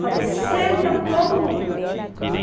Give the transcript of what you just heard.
Falei, senta todo mundo.